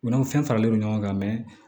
U n'anw fɛn faralen no ɲɔgɔn kan